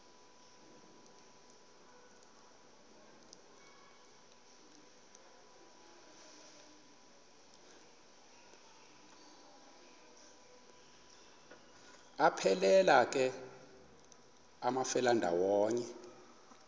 aphelela ke amafelandawonye